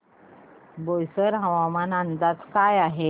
बोईसर हवामान अंदाज काय आहे